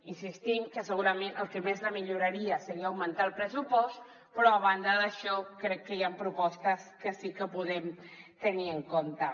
insistim que segurament el que més la milloraria seria augmentar el pressupost però a banda d’això crec que hi han propostes que sí que podem tenir en compte